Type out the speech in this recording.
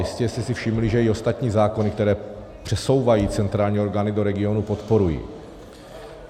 Jistě jste si všimli, že i ostatní zákony, které přesouvají centrální orgánů do regionů, podporuji.